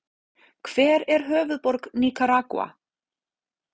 Hver er höfuðborg Nikaragúa?